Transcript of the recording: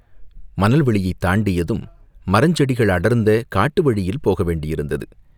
மணல் வெளியைத் தாண்டியதும் மரஞ் செடிகள் அடர்ந்த காட்டு வழியில் போக வேண்டியிருந்தது.